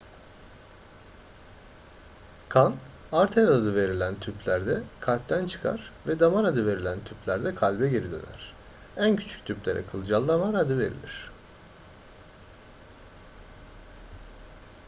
kan arter adı verilen tüplerde kalpten çıkar ve damar adı verilen tüplerde kalbe geri döner en küçük tüplere kılcal damar adı verilir